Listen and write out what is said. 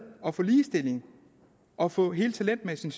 at få ligestilling og få hele talentmassen